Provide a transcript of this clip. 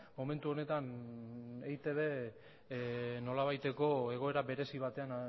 momentu honetan eitbk nolabaiteko egoera berezi batean